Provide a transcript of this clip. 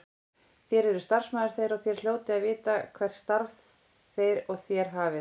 Þér eruð starfsmaður þeirra og þér hljótið að vita hvert starf þeir og þér hafið.